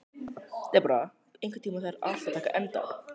Debóra, einhvern tímann þarf allt að taka enda.